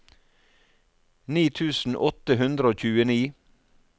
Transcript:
ni tusen åtte hundre og tjueni